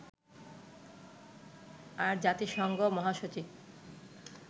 আর জাতিসংঘ মহাসচিব